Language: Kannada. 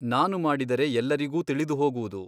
ನಾನು ಮಾಡಿದರೆ ಎಲ್ಲರಿಗೂ ತಿಳಿದು ಹೋಗುವುದು.